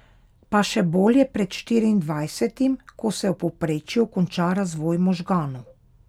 Pa še bolje pred štiriindvajsetim, ko se v povprečju konča razvoj možganov!